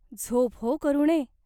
झोप हो, करुणे !